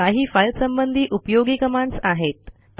ह्या काही फाईल संबंधी उपयोगी कमांडस आहेत